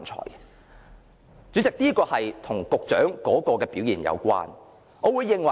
代理主席，這是和局長的表現有關的。